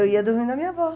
Eu ia dormindo na minha avó.